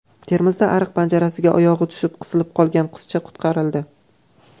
Termizda ariq panjarasiga oyog‘i tushib qisilib qolgan qizcha qutqarildi.